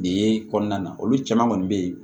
De kɔnɔna na olu caman kɔni bɛ yen